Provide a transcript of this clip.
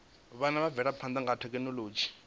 avhanya ha mvelaphana ya thekhinolodzhi